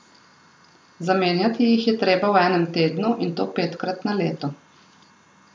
Zamenjati jih je treba v enem tednu, in to petkrat na leto.